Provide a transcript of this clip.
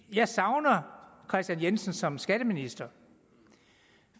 jeg savner herre kristian jensen som skatteminister